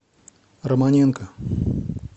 романенко